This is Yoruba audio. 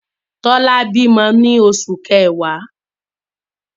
Tola bímọ ní oṣù kẹwa.